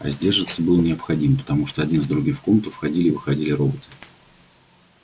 а сдерживаться было необходимо потому что один за другим в комнату входили и выходили роботы